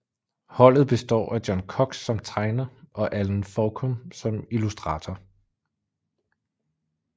Holdet består af John Cox som tegner og Allen Forkum som illustrator